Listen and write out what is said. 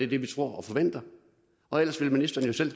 det vi tror og forventer og ellers vil ministeren jo selv